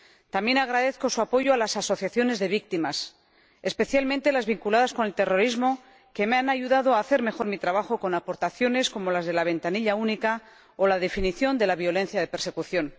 También agradezco su apoyo a las asociaciones de víctimas, especialmente las vinculadas con el terrorismo que me han ayudado a hacer mejor mi trabajo, con aportaciones como las de la ventanilla única o la definición de la violencia de persecución.